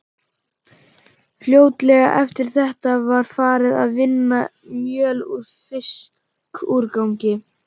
Fljótlega eftir þetta var farið að vinna mjöl úr fiskúrgangi.